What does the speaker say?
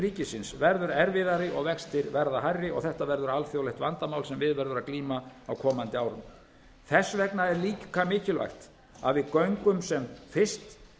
ríkisins verður erfiðari og vextir verða hærri og þetta verður alþjóðlegt vandamál sem við verður að glíma á komandi árum þess vegna er líka mikilvægt að við göngum sem fyrst